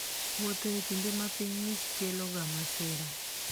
Wuotho e kinde ma piny ng'ich keloga masira.